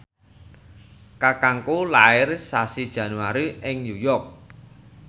kakangku lair sasi Januari ing New York